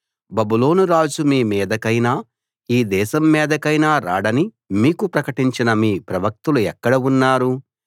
బబులోను రాజు మీమీదకైనా ఈ దేశం మీదకైనా రాడని మీకు ప్రకటించిన మీ ప్రవక్తలు ఎక్కడ ఉన్నారు